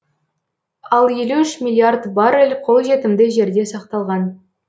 ал елу үш миллиард баррель қолжетімді жерде сақталған